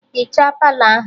Hichaa Palọ ahụ!